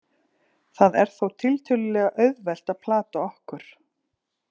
Það er þó tiltölulega auðvelt að plata okkur.